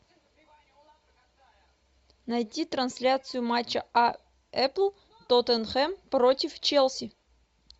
найди трансляцию матча апл тоттенхэм против челси